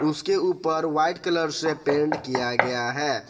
उसके ऊपर white colour से पेंट किया गया है।